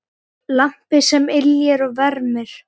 Lampi sem yljar og vermir.